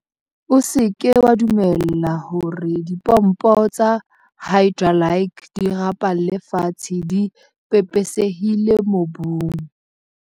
O se ke wa dumella hore dipompo tsa hydralike di rapalle fatshe di pepesehile mobung.